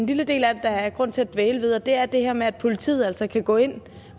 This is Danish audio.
en lille del af det der er grund til at dvæle ved og det er det her med at politiet altså kan gå ind